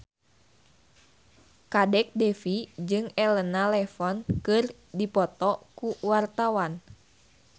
Kadek Devi jeung Elena Levon keur dipoto ku wartawan